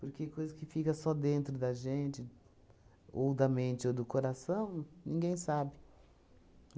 Porque coisa que fica só dentro da gente, ou da mente ou do coração, ninguém sabe.